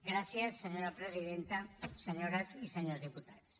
gràcies senyora presidenta senyores i senyors diputats